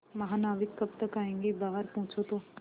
महानाविक कब तक आयेंगे बाहर पूछो तो